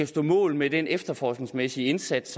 stå mål med den efterforskningsmæssige indsats